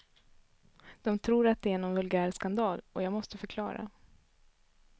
De tror att det är någon vulgär skandal, och jag måste förklara.